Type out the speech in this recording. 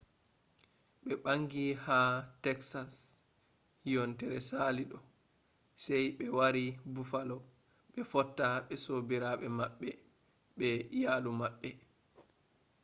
ɓe ɓangi ha teksas yontere sali ɗo sai ɓe wari bufalo ɓe fotta ɓe sobiraɓe maɓɓe be iyalu maɓɓe